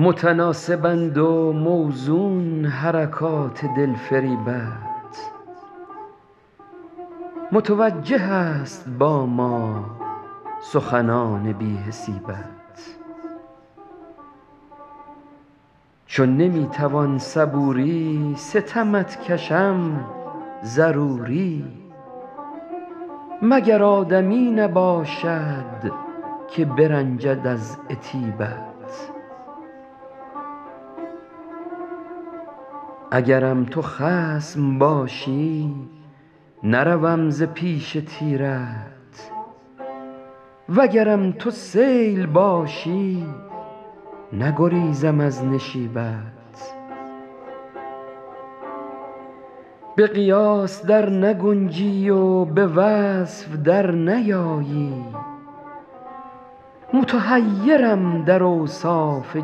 متناسبند و موزون حرکات دلفریبت متوجه است با ما سخنان بی حسیبت چو نمی توان صبوری ستمت کشم ضروری مگر آدمی نباشد که برنجد از عتیبت اگرم تو خصم باشی نروم ز پیش تیرت وگرم تو سیل باشی نگریزم از نشیبت به قیاس در نگنجی و به وصف در نیایی متحیرم در اوصاف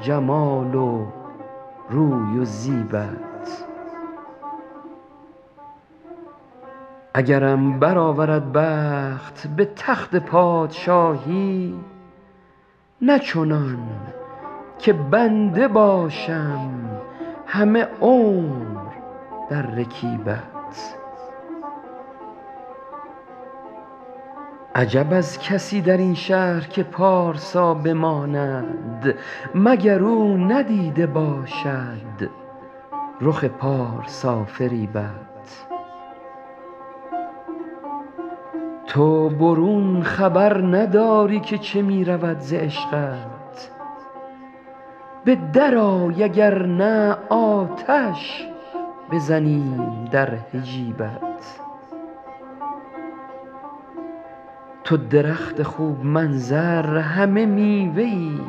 جمال و روی و زیبت اگرم برآورد بخت به تخت پادشاهی نه چنان که بنده باشم همه عمر در رکیبت عجب از کسی در این شهر که پارسا بماند مگر او ندیده باشد رخ پارسافریبت تو برون خبر نداری که چه می رود ز عشقت به درآی اگر نه آتش بزنیم در حجیبت تو درخت خوب منظر همه میوه ای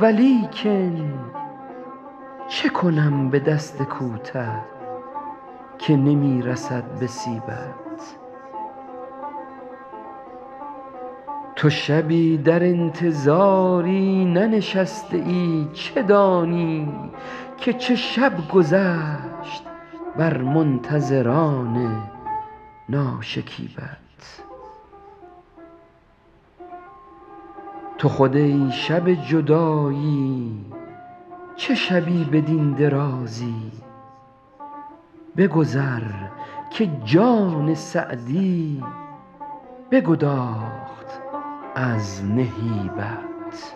ولیکن چه کنم به دست کوته که نمی رسد به سیبت تو شبی در انتظاری ننشسته ای چه دانی که چه شب گذشت بر منتظران ناشکیبت تو خود ای شب جدایی چه شبی بدین درازی بگذر که جان سعدی بگداخت از نهیبت